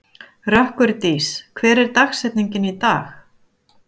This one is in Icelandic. Rökkurdís, hver er dagsetningin í dag?